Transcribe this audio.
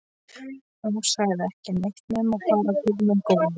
Hún sagði ekki neitt nema bara Guð minn góður.